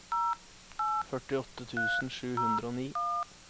førtiåtte tusen sju hundre og ni